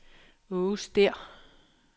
Aage Stæhr